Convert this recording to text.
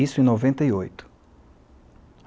Isso em noventa e oito.